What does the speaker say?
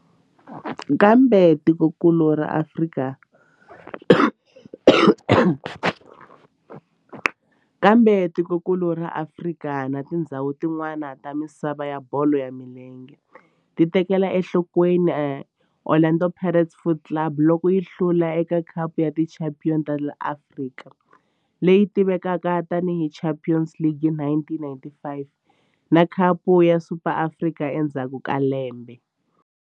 Kambe tikonkulu ra Afrika na tindzhawu tin'wana ta misava ya bolo ya milenge ti tekele enhlokweni Orlando Pirates Football Club loko yi hlula eka Khapu ya Tichampion ta Afrika, leyi tivekaka tani hi Champions League, hi 1995 na Khapu ya Super ya Afrika endzhaku ka lembe.